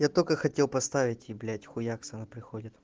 я только хотел поставить и блять хуякс она приходит